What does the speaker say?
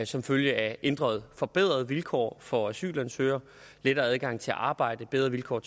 som følge af ændrede forbedrede vilkår for asylansøgere lettere adgang til at arbejde bedre vilkår